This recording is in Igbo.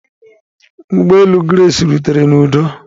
Ụgbọ elu Grace rutere n'udo.